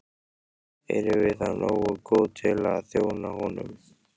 Erum við þá nógu góð til að þjóna honum?